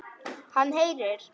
Hann heyrir.